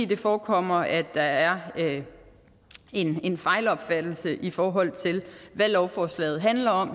det forekommer mig at der er en fejlopfattelse i forhold til hvad lovforslaget handler om